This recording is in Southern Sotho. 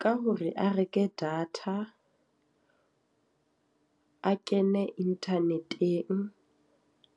Ka hore a reke data a kene internet-eng,